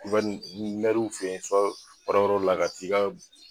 fe yen baarayɔrɔla ka t'i ka